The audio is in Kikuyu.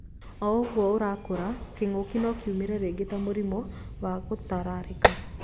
O ũguo ũrakũra, kĩngũkĩ no kiumĩre rĩngĩ ta mũrimũ wa ngũtararĩka.